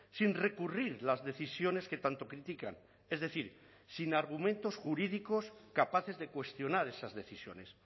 sin recurrir las decisiones que tanto critican es decir sin argumentos jurídicos capaces de cuestionar esas decisiones